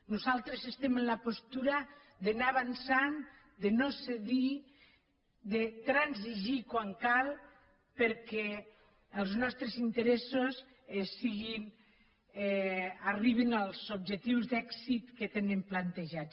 nosaltres estem en la postura d’anar avançant de no cedir de transigir quan cal perquè els nostres interessos arribin als objectius d’èxit que tenen plantejats